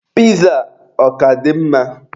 Piza a ọ ka dị mma?